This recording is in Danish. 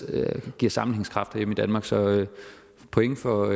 af det der giver sammenhængskraft herhjemme i danmark så point for